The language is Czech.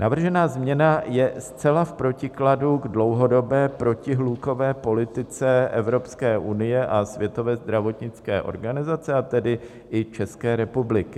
Navržená změna je zcela v protikladu k dlouhodobé protihlukové politice Evropské unie a Světové zdravotnické organizace, a tedy i České republiky.